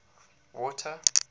water